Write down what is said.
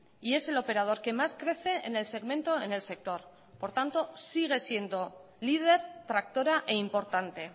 y es el operador que más crece en el segmento en el sector por tanto sigue siendo líder tractora e importante